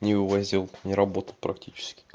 не увозил не работал практически